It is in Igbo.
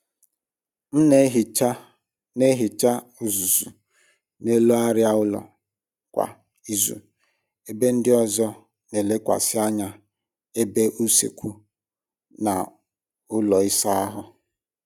M n'ehicha n'ehicha uzuzu n’elu arịa ụlọ kwa izu ebe ndị ọzọ n'elekwasị anya ebe usekwu na ụlọ ịsa ahụ